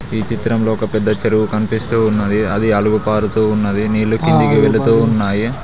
ఈ చిత్రంలో ఒక పెద్ద చెరువు కనిపిస్తూ ఉన్నది అది అలుగు పరుతూ ఉన్నది నీళ్లు కిందకి వెళుతూ ఉన్నాయి.